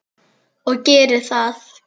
Og geri það.